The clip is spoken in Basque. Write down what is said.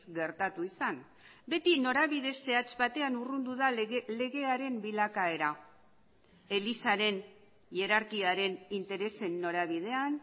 gertatu izan beti norabide zehatz batean urrundu da legearen bilakaera elizaren hierarkiaren interesen norabidean